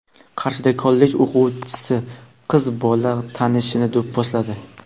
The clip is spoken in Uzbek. Qarshida kollej o‘quvchisi qiz bola tanishini do‘pposladi.